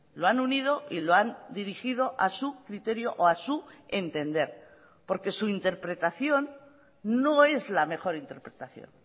lo han unido y lo han dirigido a su criterio o a su entender porque su interpretación no es la mejor interpretación